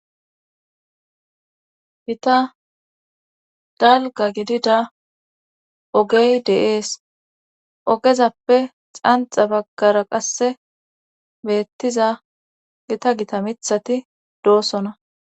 Gita dalga gidida ogey de'ees ogezappe xanxa baggara qasse beettiza gita gita mithati doosona.